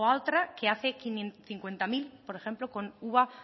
o a otra que hace cincuenta mil por ejemplo con uva